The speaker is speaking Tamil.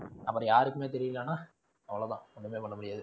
அப்படி யாருக்குமே தெரியலன்னா அவ்வளவு தான் ஒண்ணுமே பண்ண முடியாது.